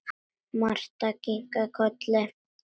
Marta kinkaði kolli.